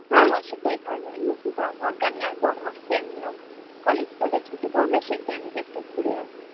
হ্যাঁ হ্যাঁ সেটাই ভালো এই মাসে যাওয়ার দরকার নেই আর পরের মাসাতো এমনিও college -ফলজ ছুটি পড়বে, সই time টয় একটু ঘুরে আয়